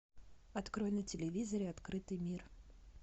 открой на телевизоре открытый мир